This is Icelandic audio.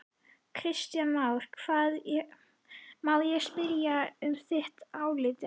Kristján Már: Má ég spyrja um þitt álit á því?